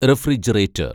refrigerator‍